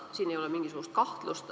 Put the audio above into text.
Siin ei ole mingisugust kahtlust.